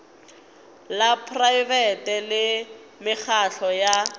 la praebete le mekgatlo ya